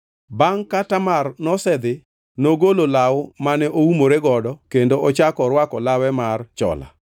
Bangʼ ka Tamar nosedhi, nogolo law mane oumore godo kendo ochako orwako lawe mar chola.